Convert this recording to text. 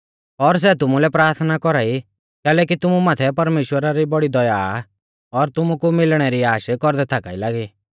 और सै तुमुलै प्राथना कौरा ई कैलैकि तुमु माथै परमेश्‍वरा री बौड़ी दया आ और तुमु कु मिलणै री आश कौरदै थाका ई लागी